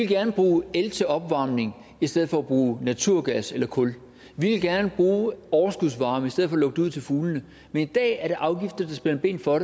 gerne bruge el til opvarmning i stedet for at bruge naturgas eller kul vi vil gerne bruge overskudsvarme i stedet for at lukke det ud til fuglene men i dag er det afgifter der spænder ben for